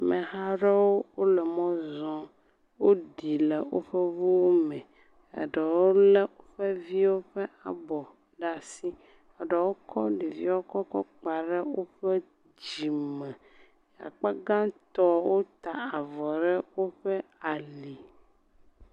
Ameha aɖewo le mɔ zɔm. Woɖi le woƒe ŋuwo me, ɖewo lé woƒe viwo ƒe abɔ ɖe asi. Ɖewo kɔ ɖeviwo kɔ gba ɖe woƒe dzime. Akpa gbãtɔ wota avɔ ɖe ali.